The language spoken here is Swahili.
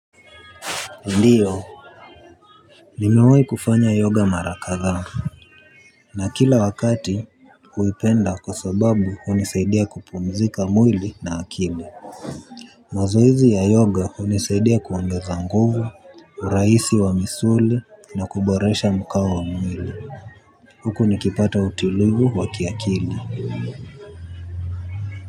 Ndiyo. Nimewai kufanya yoga mara kadhaa. Na kila wakati huipenda kwa sababu hunisaidia kupumzika mwili na akili. Mazoezi ya yoga hunisaidia kuongeza nguvu, urahisi wa misuli na kuboresha mkao wa mwili. Huku nikipata utulivu wa kiakili.